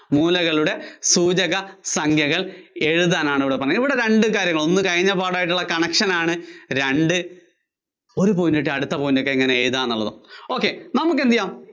മൂലകളുടെ സൂചക സംഖ്യകള്‍ എഴുതാനാണ് ഇവിടെ പറഞ്ഞിരിക്കുന്നത് കേട്ടോ. ഇവിടെ രണ്ടു കാര്യങ്ങള്‍ ഉണ്ട്, ഒന്ന് കഴിഞ്ഞ പാഠവുമായിട്ടുള്ള connection ആണ്, രണ്ട് ഒരു point കിട്ടിയാല്‍ അടുത്ത point ഇങ്ങിനെ എഴുതുവാ എന്നുള്ളതാണ്. ok നമുക്കെന്തുചെയ്യാം?